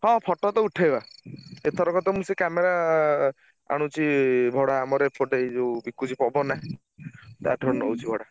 ହଁ photo ତ ଉଠେଇବା| ଏଥରକ ତ ମୁଁ ସେଇ camera ଆଣୁଚି ଭଡା ଆମର ଏପଟେ ଏଇ ଯୋଉ ବିକୁଚି ପବନା ତାଠାରୁ ନଉଚି ଭଡା।